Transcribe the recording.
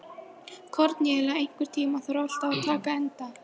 Kornelía, einhvern tímann þarf allt að taka enda.